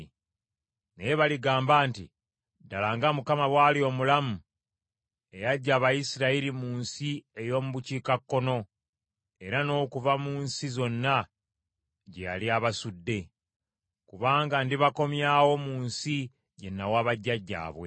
naye baligamba nti, ‘Ddala nga Mukama bw’ali omulamu eyaggya Abayisirayiri mu nsi ey’omu bukiikakkono era n’okuva mu nsi zonna gye yali abasudde.’ Kubanga ndibakomyawo mu nsi gye nawa bajjajjaabwe.